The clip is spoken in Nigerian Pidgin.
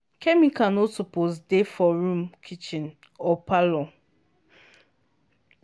chemical no suppose dey for room kitchen or parlor.